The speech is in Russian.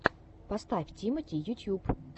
поставь тимати ютьюб